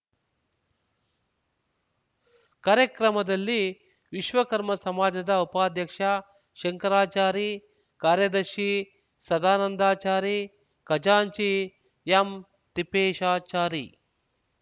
ಕಾರ್ಯಕ್ರಮದಲ್ಲಿ ವಿಶ್ವಕರ್ಮ ಸಮಾಜದ ಉಪಾಧ್ಯಕ್ಷ ಶಂಕರಾಚಾರಿ ಕಾರ್ಯದರ್ಶಿ ಸದಾನಂದಚಾರಿ ಖಜಾಂಚಿ ಎಂತಿಪ್ಪೇಶಾಚಾರಿ